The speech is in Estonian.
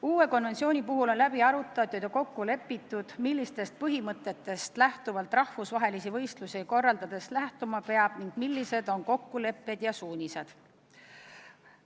Uue konventsiooni puhul on läbi arutatud ja kokku lepitud, millistest põhimõtetest rahvusvahelisi võistlusi korraldades lähtuma peab, millised on kokkulepped ja suunised.